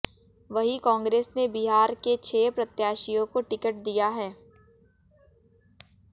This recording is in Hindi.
वहीं कांग्रेस ने बिहार के छह प्रत्याशियों को टिकट दिया है